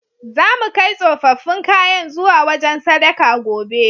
Zamu kai tsofaffin kayan zuwa wajen sadaka, gobe.